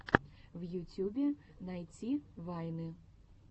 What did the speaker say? в ютьюбе найти вайны